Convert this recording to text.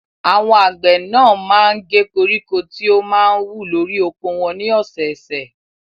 Àwọn àgbẹ̀ náà máa ń gé koríko tí ó máa ń wù lórí oko wọn ní ọ̀sẹ̀ẹ̀sẹ̀.